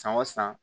San o san